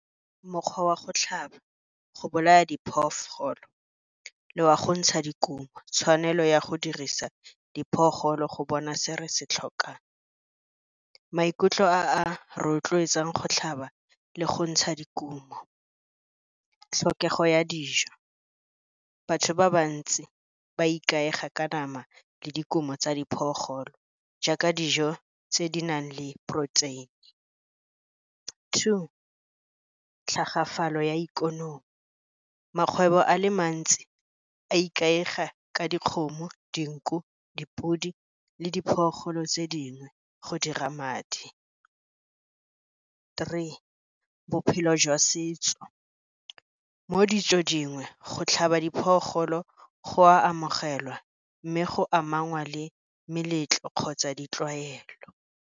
Mokgwa wa go tlhaba go bolaya phoofolo le wa go ntsha dikumo, tshwanelo ya go dirisa go bona se re se tlhokang. Maikutlo a rotloetsang go tlhaba le go ntsha dikumo, tlhokego ya dijo, batho ba bantsi ba ikaega ka nama le dikumo tsa jaaka dijo tse di nang le protein-e. Two, tlhagafalo ya ikonomi, makgwebo a le mantsi a ikaega ka dikgomo, dinku, dipodi, le tse dingwe go dira madi. Three, bophelo jwa setso, mo ditsong dingwe, go tlhaba go amogelwa mme go amanngwa le meletlo kgotsa ditlwaelo.